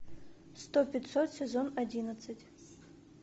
сто пятьсот сезон одиннадцать